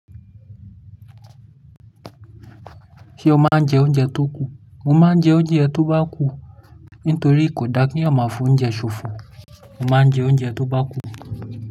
Ṣé o máa ń jẹ oúnjẹ tó kù? Mo máa ń jẹ oúnjẹ tó bá kù, nítorí kò dára kí a máa fún oúnjẹ ṣòfò. Mo máa ń jẹ oúnjẹ tó bá kù.